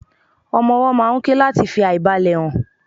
ọmọ ọwó máà ń ké lati fi aìbalẹ̀ hàn